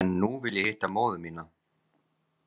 En nú vil ég hitta móður mína.